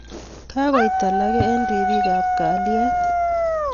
Kakoit alagee eng ripiik ap kelyet